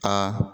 Aa